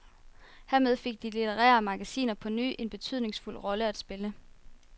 Hermed fik de litterære magasiner på ny en betydningsfuld rolle at spille.